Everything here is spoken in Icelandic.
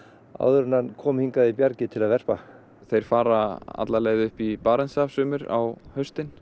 áður en hann kom hingað í bjargið til að verpa þeir fara alla leið upp í Barentshaf sumir á haustin